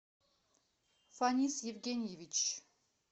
фанис евгеньевич